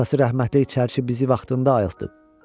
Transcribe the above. Atası rəhmətlik çərçi bizi vaxtında ayıltdı.